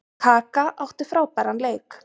Kaka átti frábæran leik.